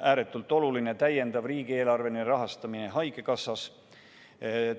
Ääretult oluline on haigekassa täiendav riigieelarveline rahastamine, üldse